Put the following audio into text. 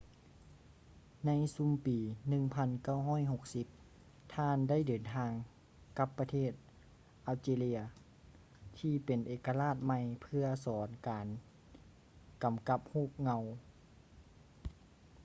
ໃນຊຸມປີ 1960 ທ່ານໄດ້ເດີນທາງກັບປະເທດ algeria ທີ່ເປັນເອກະລາດໃໝ່ເພື່ອສອນການກຳກັບຮູບເງົາ